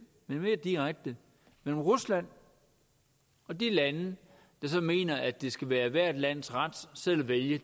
men mere direkte mellem rusland og de lande der mener at det skal være ethvert lands ret selv at vælge